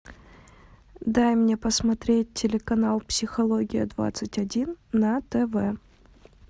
дай мне посмотреть телеканал психология двадцать один на тв